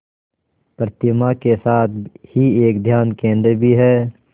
प्रतिमा के साथ ही एक ध्यान केंद्र भी है